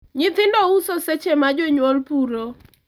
nyithindo uso seche ma jonyuol puro